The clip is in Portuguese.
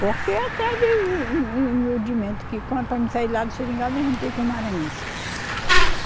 Porque atrás de para mim sair lá do Seringal, eu me juntei com um Maranhense.